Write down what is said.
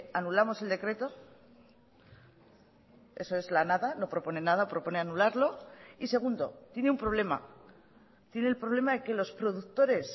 anulamos el decreto eso es la nada no propone nada propone anularlo y segundo tiene un problema tiene el problema de que los productores